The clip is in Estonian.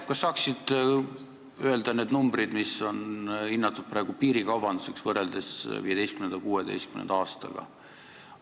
Kas saaksid öelda need numbrid, kui suureks on praegu hinnatud piirikaubandust võrreldes 2015.–2016. aastaga?